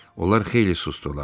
Onlar xeyli susdular.